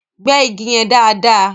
Gbẹ́ igi yẹn dáàdaa!